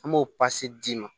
An b'o d'i ma